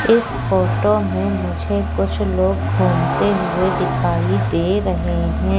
इस फोटो में मुझे कुछ लोग घूमते हुए दिखाई दे रहे हैं।